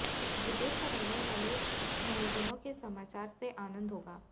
विदेश में रहनेवाले स्नेहिजनों के समाचार से आनंद होगा